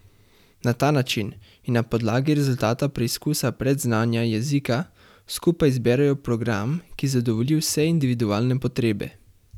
Na ta način in na podlagi rezultata preizkusa predznanja jezika, skupaj izberejo program, ki zadovolji vse individualne potrebe.